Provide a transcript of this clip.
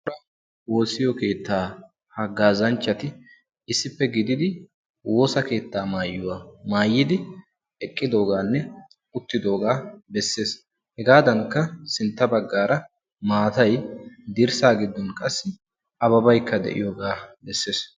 Woossiyo keettaa haggaazanchchati issippe gididi woosa keettaa maayuwa maayidi eqqidoogaanne uttidoogaa bessees. Hegaadankka sintta baggaara maatay dirssaa giddon qassi ababaykka de'iyoogaa bessees.